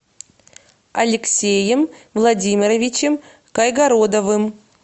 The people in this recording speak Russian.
алексеем владимировичем кайгородовым